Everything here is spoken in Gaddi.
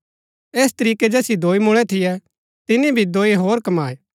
ऐस तरीकै जैसिओ दोई मुळै थियै तिनी भी दोई होर कमाये